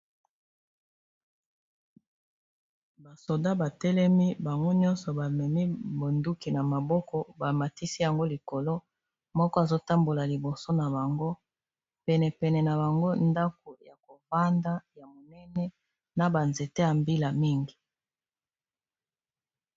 basoda batelemi bango nyonso bamemi bonduki na maboko bamatisi yango likolo moko azotambola liboso na bango penepene na bango ndako ya kovanda ya monene na banzete ya mbila mingi